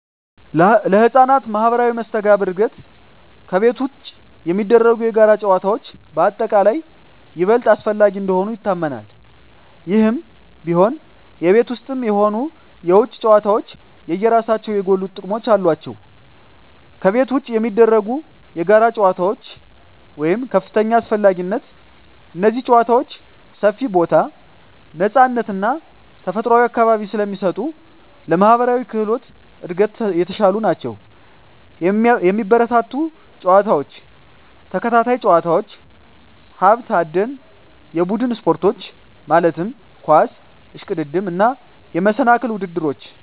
ለሕፃናት ማኅበራዊ መስተጋብር እድገት ከቤት ውጪ የሚደረጉ የጋራ ጨዋታዎች በአጠቃላይ ይበልጥ አስፈላጊ እንደሆኑ ይታመናል። ይህም ቢሆን፣ የቤት ውስጥም ሆኑ የውጪ ጨዋታዎች የየራሳቸው የጎሉ ጥቅሞች አሏቸው። ከቤት ውጪ የሚደረጉ የጋራ ጨዋታዎች (ከፍተኛ አስፈላጊነት) እነዚህ ጨዋታዎች ሰፊ ቦታ፣ ነፃነት እና ተፈጥሯዊ አካባቢ ስለሚሰጡ ለማኅበራዊ ክህሎት እድገት የተሻሉ ናቸው። የሚበረታቱ ጨዋታዎች፦ ተከታታይ ጨዋታዎች፣ ሀብት አደን፣ የቡድን ስፖርቶች (ኳስ፣ እሽቅድድም)፣ እና የመሰናክል ውድድሮች።